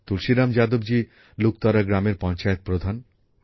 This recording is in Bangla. তুলসীরাম যাদবজী লুকতরা গ্রামের পঞ্চায়েত প্রধান